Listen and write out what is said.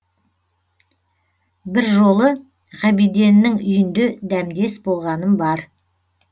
бір жолы ғабиденнің үйінде дәмдес болғаным бар